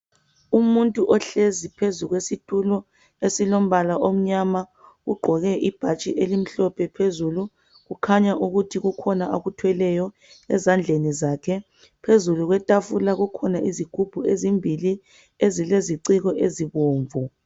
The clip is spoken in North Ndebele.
Umuntu ohlezi phezu kwesitulo eslombala omnyama ugqoke ibhatshi elimhlophe phezulu kukhanya ukuthi kukhona akuthweleyo ezandleni zakhe phezu kwetafula kukhona izigubhu ezimbili ezileziciko ezibomvu